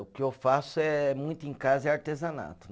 O que eu faço é, muito em casa é artesanato.